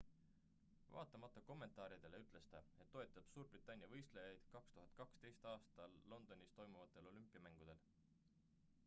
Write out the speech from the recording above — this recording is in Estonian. vaatamata kommentaaridele ütles ta et toetab suurbritannia võistlejaid 2012 aastal londonis toimuvatel olümpiamängudel